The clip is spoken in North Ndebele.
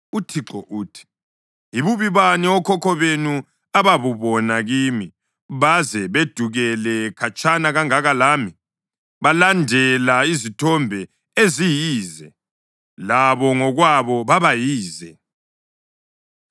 UThixo uthi: “Yibubi bani okhokho benu ababubona kimi, baze bedukele khatshana kangaka lami? Balandela izithombe eziyize, labo ngokwabo baba yize.